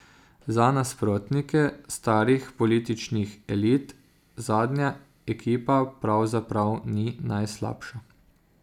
Za nasprotnike starih političnih elit zadnja ekipa pravzaprav ni najslabša.